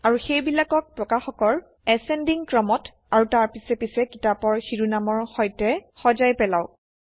আৰু সেইবিলাকক প্ৰকাশকৰ বৰ্ধমান ক্ৰমত আৰু তাৰ পিছে পিছে কিতাপৰ শিৰোনামৰে সৈতে সজাই পেলাওক